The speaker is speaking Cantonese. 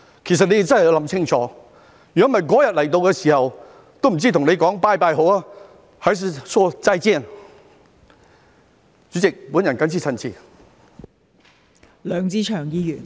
其實你們真的要想清楚，否則那天到來的時候，也不知道應該跟你們說"拜拜"好，"還是說'再見'。